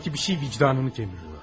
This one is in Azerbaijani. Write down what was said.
Sanki bir şey vicdanını gəmirir.